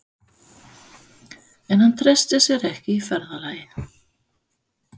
En hann treysti sér ekki í ferðalagið.